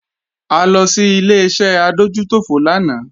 A lọ sí Ileṣẹ́ adójútòfò lánàá